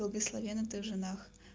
благословенна ты в жёнах